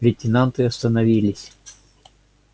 лейтенанты остановились